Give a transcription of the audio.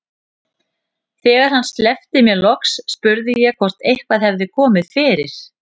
Þegar hann sleppti mér loks spurði ég hvort eitthvað hefði komið fyrir.